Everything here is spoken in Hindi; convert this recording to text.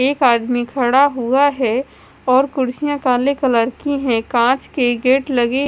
एक आदमी खड़ा हुआ है और कुर्सियां काले कलर की हैं कांच के गेट लगे--